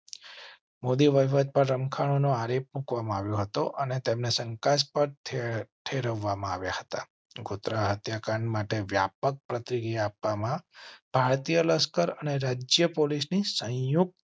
મોદી વહીવટ પર રમખાણો નો આરોપ મૂકવા માં આવ્યો હતો અને તેમને શંકાસ્પદ ઠેરવવા મા આવ્યા હતા. ગોધરા હત્યાકાંડ માટે વ્યાપક પ્રતિક્રિયા આપવામાં ભારતીય લશ્કર અને રાજ્ય પોલીસ ની સંયુક્ત